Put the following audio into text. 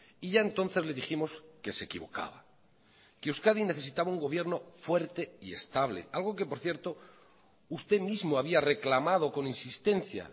y ya entonces le dijimos que se equivocaba que euskadi necesitaba un gobierno fuerte y estable algo que por cierto usted mismo había reclamado con insistencia